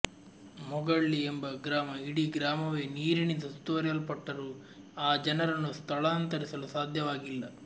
ಮೊಗಳ್ಳಿ ಎಂಬ ಗ್ರಾಮ ಇಡೀ ಗ್ರಾಮವೇ ನೀರಿನಿಂದ ಸುತ್ತುವರೆಯಲ್ಪಟ್ಟರೂ ಆ ಜನರನ್ನು ಸ್ಥಳಾಂತರಿಸಲೂ ಸಾಧ್ಯವಾಗಿಲ್ಲ